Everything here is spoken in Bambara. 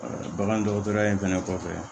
bagan dɔgɔtɔrɔya in fɛnɛ kɔfɛ